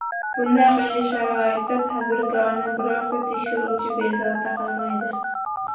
Bunday qiyin sharoitda tadbirkorni birorta tekshiruvchi bezovta qilmaydi.